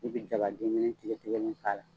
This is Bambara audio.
I bi jaba den kelen tigɛtigɛlen k'a la.